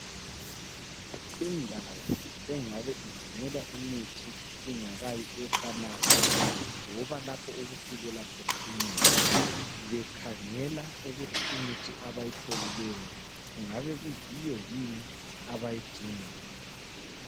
Indawo engabe igcinelwa imithi ingakayi efamasi loba lapho okufikela khona imithi bekhangela ukuthi imithi abayitholileyo kungabe kuyiyo yini abayidingayo.